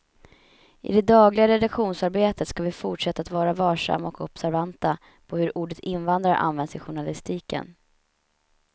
I det dagliga redaktionsarbetet ska vi fortsätta att vara varsamma och observanta på hur ordet invandrare används i journalistiken.